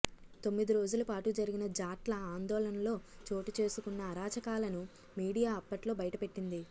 తొమ్మిది రోజుల పాటు జరిగిన జాట్ల ఆందోళనలో చోటుచేసుకున్న అరాచకాలను మీడియా అప్పట్లో బయటపెట్టింది